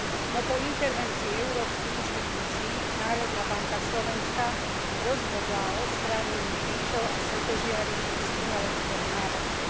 No po intervencii európskych inštitúcií Národná banka Slovenska rozhodla o odstránení krížov a svätožiary z umeleckého návrhu.